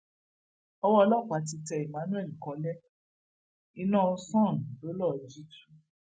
owó ọlọpàá ti tẹ emmanuel kọlẹ iná sun ló lọọ jí tu